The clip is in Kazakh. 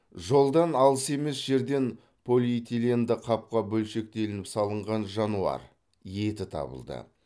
жолдан алыс емес жерден полиэтиленді қапқа бөлшектелініп салынған жануар еті табылды